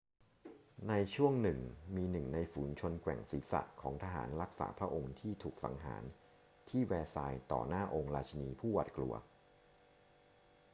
ในช่วงหนึ่งมีหนึ่งในฝูงชนแกว่งศีรษะของทหารรักษาพระองค์ที่ถูกสังหารที่แวร์ซายส์ต่อหน้าองค์ราชินีผู้หวาดกลัว